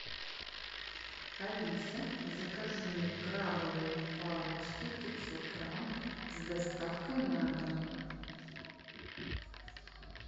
алиса закажи мне крабовые палочки пятьсот грамм с доставкой на дом